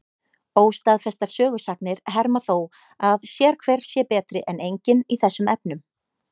Óstaðfestar sögusagnir herma þó að sérhver sé betri en enginn í þessum efnum.